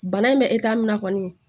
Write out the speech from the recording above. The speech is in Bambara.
Bana in bɛ min na kɔni